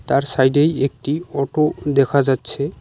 আর সাইডেই একটি অটো দেখা যাচ্ছে।